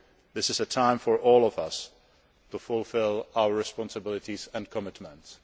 This is a time for all of us to fulfil our responsibilities and our commitments.